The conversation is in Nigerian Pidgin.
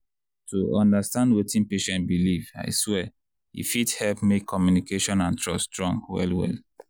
to understand wetin patient believe i swear e fit help make communication and trust strong well well.